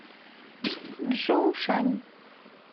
чжоушань